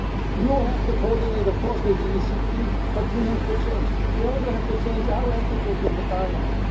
You have to coordinate, of course, with the ECB, but we have to change. We also have to change our attitude in Parliament.